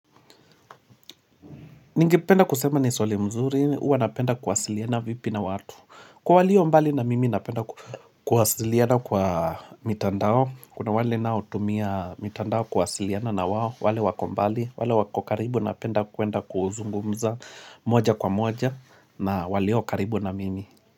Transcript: Ningependa kusema ni swali mzuri, huwa napenda kuwasiliana vipi na watu. Kwa walio mbali na mimi napenda kuwasiliana kwa mitandao. Kuna wale nao tumia mitandao kuwasiliana na wao wale wako mbali, wale wako karibu napenda kuenda kuzungumza moja kwa moja na walio karibu na mimi.